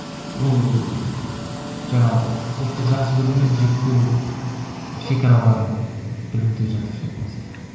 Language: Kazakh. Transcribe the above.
ол жаңағы ұлтты жақсы көру мен жек көру шекараларын білуде жатыр ше мәселе